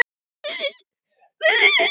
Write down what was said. Borgin vex mikið við það.